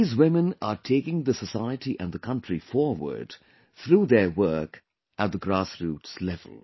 These women are taking the society and the country forward through their work at the grassroots level